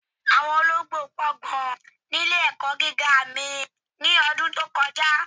Awọn ọlọgbo pọ̀ gan ni ilẹ̀-ẹ̀kọ́ gígá mí ni ọ̀dún tó kọja.